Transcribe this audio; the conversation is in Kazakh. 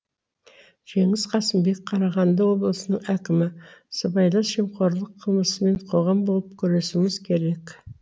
жеңіс қасымбек қарағанды облысының әкімі сыбайлас жемқорлық қылмысымен қоғам болып күресуіміз керек